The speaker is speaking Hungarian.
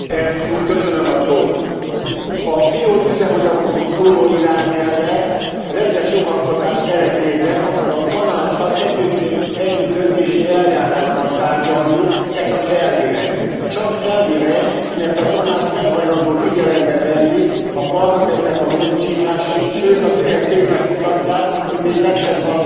A bioüzemanyagokról szóló irányelvet rendes jogalkotás keretében, azaz a Tanáccsal együttdöntési eljárásban tárgyaljuk, de csak elvileg. Csak elvileg, mert a Tanács nem hajlandó figyelembe venni a Parlament módosításait, sőt az üres székek mutatják, hogy még meg sem hallgat minket.